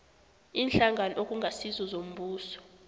iinhlangano okungasizo zombuso